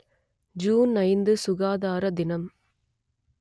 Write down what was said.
June ஐந்து சுகாதார தினம்